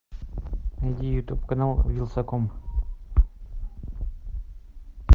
найди ютуб канал вилсаком